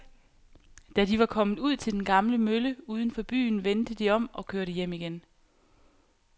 Da de var kommet ud til den gamle mølle uden for byen, vendte de om og kørte hjem igen.